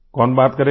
कौन बात करेगा